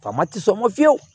Faama tɛ sɔn ma fiyewu